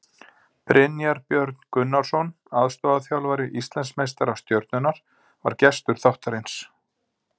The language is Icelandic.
Brynjar Björn Gunnarsson, aðstoðarþjálfari Íslandsmeistara Stjörnunnar, var gestur þáttarins.